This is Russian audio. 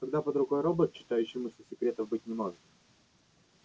когда под рукой робот читающий мысли секретов быть не может